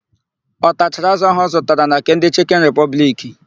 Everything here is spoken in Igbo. Ọ tachara ázụ̀ áhụ̀ ọ zụtara na nke ndị Chịkịn Ripọbliki?